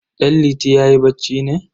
Danliti yayi bacci ne?